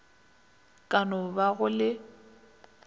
ka no ba go le